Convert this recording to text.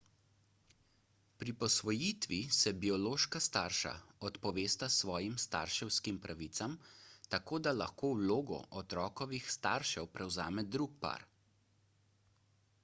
pri posvojitvi se biološka starša odpovesta svojim starševskim pravicam tako da lahko vlogo otrokovih staršev prevzame drug par